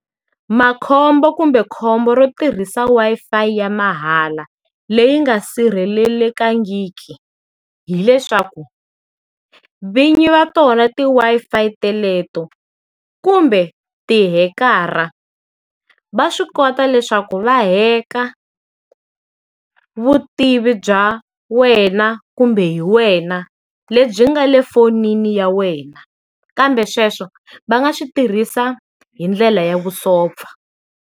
Makhombo kumbe khombo ro tirhisa Wi-Fi ya mahala, leyi nga sirhelelekangiki, hileswaku, vin'yi va tona ti Wi-Fi teleto kumbe ti-hacker-a, va swi kota leswaku va hack-a vutivi bya wena kumbe hi wena lebyi nga le fonini ya wena kambe sweswo va nga swi tirhisiwa hi ndlela ya vusopfa.